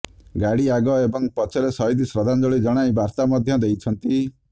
ଗାଡି ଆଗ ଏବଂ ପଛରେ ଶହୀଦ ଶ୍ରଦ୍ଧାଞ୍ଜଳି ଜଣାଇ ବାର୍ତା ମଧ୍ୟ ଦେଇଛନ୍ତି